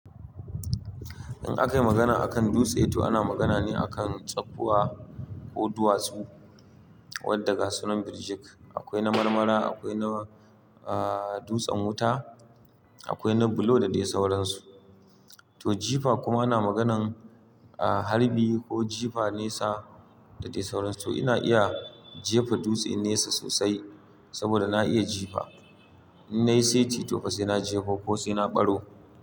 In aka yi magana a kan dutse to ana magana ne akan tsakkuwa ko duwatsu wadda gasu na birjik. Akwai na marmara, akwai na, ah, dutsen wuta, akwai na bulo da dai sauransu. To jifa kuma ana magana harbi ko jifa nesa da dai sauransu. To ina iya jefa dutse nesa sosai saboda na iya jifa. In na yi seti to fa sai na jefa ko sai na ɓaro.